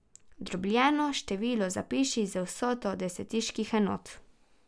Dobljeno število zapiši z vsoto desetiških enot.